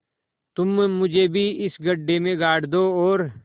तुम मुझे भी इस गड्ढे में गाड़ दो और